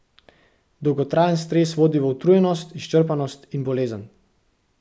Dolgotrajen stres vodi v utrujenost, izčrpanost in bolezen!